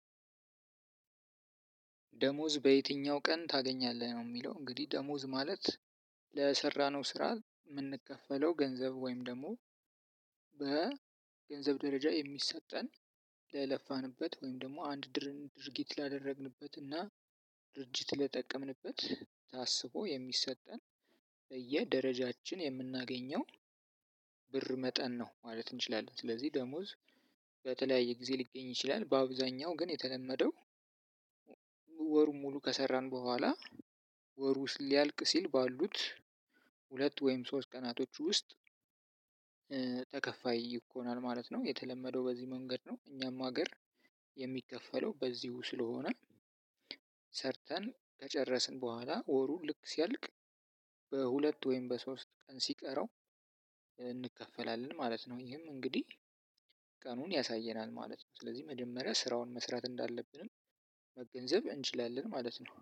ደሞዝ በየትኛው ቀን ታገኛለህ ነው የሚለው? እንግዲህ ደሞዝ ማለት ለሰራነው ስራ የምንከፈለው ገንዘብ ወይም ደግሞ በ ገንዘብ ደረጃ የሚሰጠን ለለፋንበት ወይም ደግሞ አንድ ድርን ድርጊት ላደረግንበት እና ድርጅት ለጠቀምንበት ታስቦ የሚሰጠን በየደረጃችን የምናገኘው ብር መጠን ነው ማለት እንችላለን። ስለዚህ ደሞዝ በተለያየ ጊዜ ሊገኝ ይችላል። በአብዛኛው ግን የተለመደው ወሩ ሙሉ ከሰራን በኋላ ወሩ ውስጥ ሊያልቅ ሲል ባሉት ሁለት ወይም ሶስት ቀናቶች ውስጥ። ተከፋይ ይኮናል ማለት ነው የተለመደው በዚህ መንገድ ነው። እኛም ሀገር የሚከፈለው በዚሁ ስለሆነ። ሰርተን ከጨረስን በኋላ ወሩ ልክ ሲያልቅ በሁለት ወይም በሶስት ቀን ሲቀረው እንከፈላለን ማለት ነው። ይሄም እንግዲህ ቀኑን ያሳየናል ማለት ነው። ስለዚህ መጀመሪያ ስራውን መስራት እንዳለብንም መገንዘብ እንችላለን ማለት ነው